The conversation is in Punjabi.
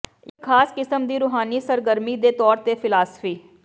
ਇਕ ਖਾਸ ਕਿਸਮ ਦੀ ਰੂਹਾਨੀ ਸਰਗਰਮੀ ਦੇ ਤੌਰ ਤੇ ਫ਼ਿਲਾਸਫ਼ੀ